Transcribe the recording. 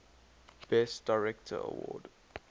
best director award